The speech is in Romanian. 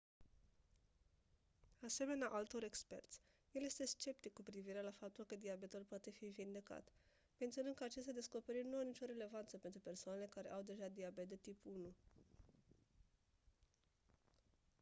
asemenea altor experți el este sceptic cu privire la faptul că diabetul poate fi vindecat menționând că aceste descoperiri nu au nicio relevanță pentru persoanele care au deja diabet de tip 1